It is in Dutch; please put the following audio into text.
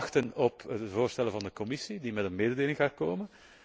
We wachten op de voorstellen van de Commissie, die met een mededeling gaat komen.